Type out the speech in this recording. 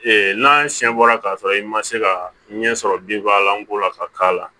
Ee n'a siɲɛ bɔra k'a sɔrɔ i ma se ka ɲɛ sɔrɔ lanko la ka k'a la